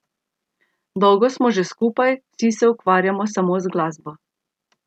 Dolgo smo že skupaj, vsi se ukvarjamo samo z glasbo.